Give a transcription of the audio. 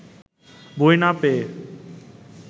বই না পেয়ে